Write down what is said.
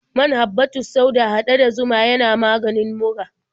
Man habbatus sauda haɗe da zuma yana maganin mura.